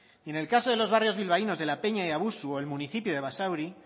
y en el caso de los barrios bilbaínos de la peña y abusu o el municipio de basauri